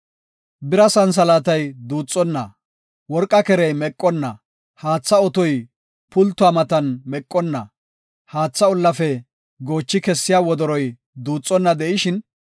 Bira santhalaatay duuxonna de7ishin, worqa kerey meqonna de7ishin, haatha otoy pultuwa matan meqonna de7ishin, haathe ollafe goochi kessiya wodoroy duuxonna de7ishin,